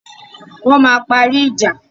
Wọ́n máa parí ìja.